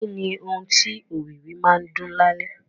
Kí ni ohùn tí òwìwí máa ń dún lálẹ́?